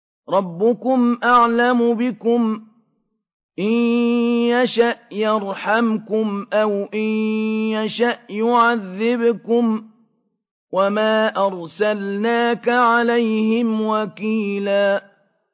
رَّبُّكُمْ أَعْلَمُ بِكُمْ ۖ إِن يَشَأْ يَرْحَمْكُمْ أَوْ إِن يَشَأْ يُعَذِّبْكُمْ ۚ وَمَا أَرْسَلْنَاكَ عَلَيْهِمْ وَكِيلًا